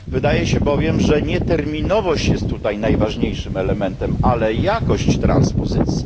Wydaje się bowiem, że nie terminowość jest tutaj najważniejszym elementem, ale jakość transpozycji.